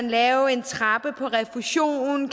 lave en trappe på refusion